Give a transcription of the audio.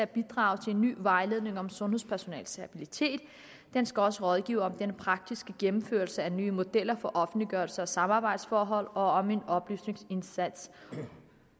bidrage til en ny vejledning om sundhedspersonalets habilitet den skal også rådgive om den praktiske gennemførelse af nye modeller for offentliggørelse og samarbejdsforhold og om en oplysningsindsats